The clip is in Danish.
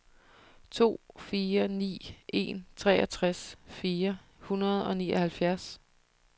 to fire ni en treogtres fire hundrede og nioghalvfjerds